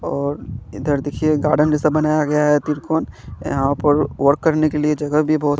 और इधर देखिए गार्डन जैसा बनाया गया है त्रिकोन यहां पर वर्क करने के लिए जगह भी बहोत--